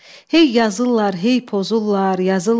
Hey yazırlar, hey pozurlar, yazırlar.